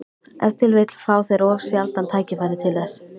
Ef til vill fá þeir of sjaldan tækifæri til þess.